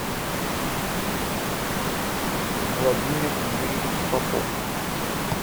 владимир юрьевич попов